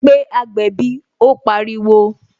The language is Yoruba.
Pé agbẹ̀bí " ó pariwo